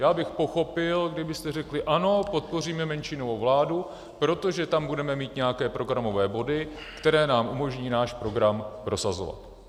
Já bych pochopil, kdybyste řekli "ano, podpoříme menšinovou vládu, protože tam budeme mít nějaké programové body, které nám umožní náš program prosazovat".